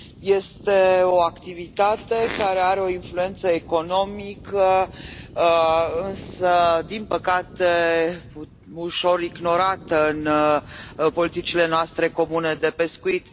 Este o activitate care are o influență economică din păcate ușor ignorată în politicile noastre comune de pescuit.